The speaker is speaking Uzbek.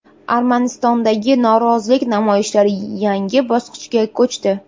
Armanistondagi norozilik namoyishlari yangi bosqichga ko‘chdi.